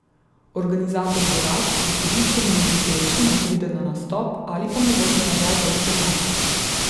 Organizator bi rad, da sodišče naloži pevcu, naj pride na nastop, ali pa mu vrne nazaj ves denar.